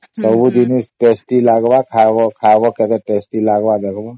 ସବୁ ଦିନ tasty ଲାଗିବ ଖାଇବା କେତେ tasty ଲାଗିବ ଦେଖିବା